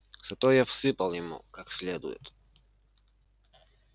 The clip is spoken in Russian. зато я всыпал ему как следует